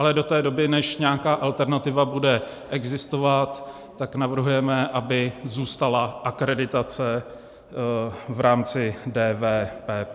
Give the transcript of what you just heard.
Ale do té doby, než nějaká alternativa bude existovat, tak navrhujeme, aby zůstala akreditace v rámci DVPP.